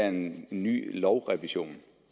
en ny lovrevision